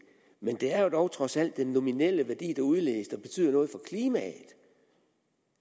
men det er dog trods alt den nominelle værdi der udledes der betyder noget for klimaet